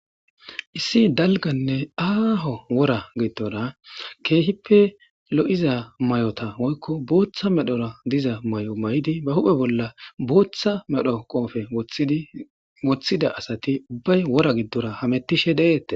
issi dalganne aaho wora gidora keehippe lo7iza may7ota woykko booththa medhora diza may7o may7di ba huphe bolla booththa medho qoofe wothida asati ubbay wora giddora hamettishe deeette